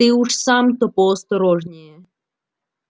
ты уж сам-то поосторожнее